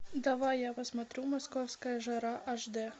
давай я посмотрю московская жара аш дэ